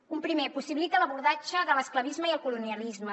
punt primer possibilita l’abordatge de l’esclavisme i el colonialisme